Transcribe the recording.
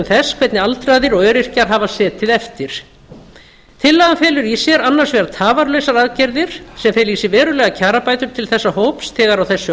þess hvernig aldraðir og öryrkjar hafa setið eftir tillagan felur í sér annars vegar tafarlausar aðgerðir sem fela í sér verulegar kjarabætur til þessa hóps þegar á þessu